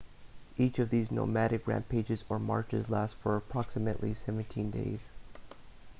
each of these nomadic rampages or marches lasts for approximately 17 days